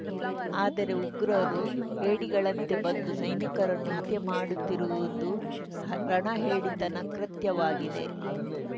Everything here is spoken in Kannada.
ಆದರೆ ಉಗ್ರರು ಹೇಡಿಗಳಂತೆ ಬಂದು ಸೈನಿಕರನ್ನು ಹತ್ಯೆ ಮಾಡುತ್ತಿರುವುದು ರಣಹೇಡಿತನ ಕೃತ್ಯವಾಗಿದೆ